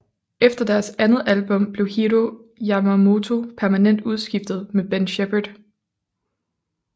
Efter deres andet album blev Hiro Yamamoto permanent udskiftet med Ben Shepherd